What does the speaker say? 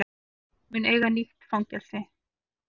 Ríkið mun eiga nýtt fangelsi